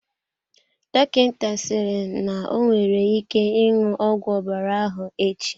Dọkịta sịrị n'onwere ike ṅụọ ọgwụ ọbara ahụ echi.